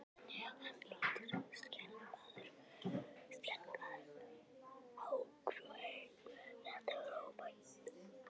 Hann lítur skelkaður á Ungfrú heim, þetta var óvænt!